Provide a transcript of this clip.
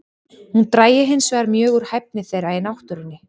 Hún drægi hinsvegar mjög úr hæfni þeirra í náttúrunni.